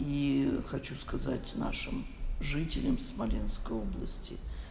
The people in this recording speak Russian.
и хочу сказать нашим жителям смоленской области